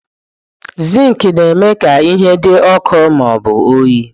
Zinki na-eme ka ihe dị ọkụ ma ọ bụ oyi.